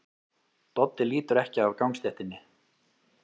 Doddi lítur ekki af gangstéttinni.